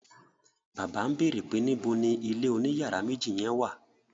Bàbá ń bèrè pé níbo ni ilé oní yàrá méjì yen wà?